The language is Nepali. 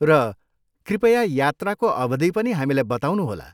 र कृपया यात्राको अवधि पनि हामीलाई बताउनुहोला।